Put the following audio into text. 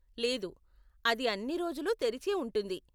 లేదు, అది అన్ని రోజులు తెరిచే ఉంటుంది.